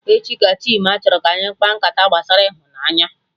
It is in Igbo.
Echi ka Chima chọrọ ka anyị kpaa nkata gbasara ịhụnanya